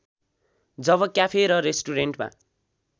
जब cafe र रेस्टुरेन्टमा